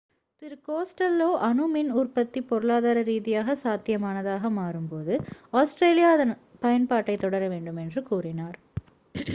திரு Costello அணு மின் உற்பத்தி பொருளாதார ரீதியாகச் சாத்தியமானதாக மாறும்போது ஆஸ்திரேலியா அதன் பயன்பாட்டைத் தொடர வேண்டும் என்று கூறினார்